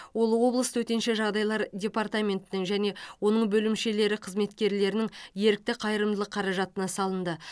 ол облыс төтенше жағдайлар департаментінің және оның бөлімшелері қызметкерлерінің ерікті қайырымдылық қаражатына салынды